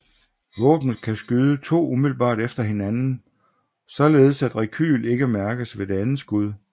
Våbenet kan skyde to umiddelbart efter hinanden således at rekyl ikke mærkes ved det andet skud